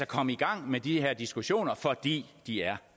komme i gang med de her diskussioner fordi de er